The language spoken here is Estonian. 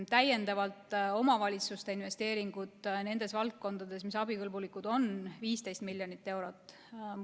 Täiendavalt omavalitsuste investeeringud nendes valdkondades, mis on abikõlbulikud, on 15 miljonit eurot.